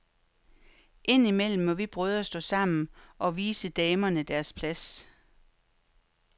Ind imellem må vi brødre stå sammen og vise damerne deres plads.